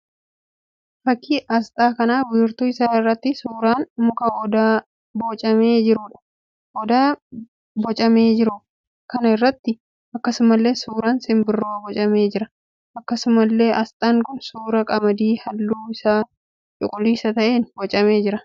Fakkii asxaa kan wiirtuu isaa irratti suuraan muka Odaa boocamee jiruudha. Odaa boocamee jiru kana irratti akkasumallee suuraan simbiraa boocamee jira. Akkasumallee asxaan kun suuraa qamadii halluun isaa cuquliisa ta'een boocamee jira.